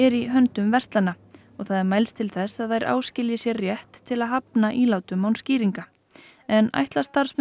í höndum verslana og það er mælst til þess að þær áskilji sér rétt til að hafna ílátum án skýringa en ætla starfsmenn